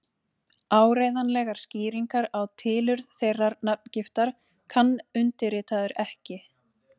Áreiðanlegar skýringar á tilurð þeirrar nafngiftar kann undirritaður ekki.